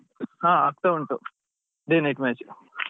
ಹಾ ಆಗ್ತಾ ಉಂಟು day night match .